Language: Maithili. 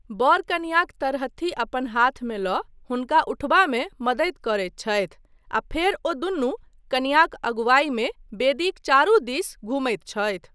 बर कनियाँक तरहत्थी अपन हाथमे लऽ हुनका उठबामे मदति करैत छथि आ फेर ओ दुनू कनियाँक अगुवाईमे वेदीक चारु दीस घूमैत छथि।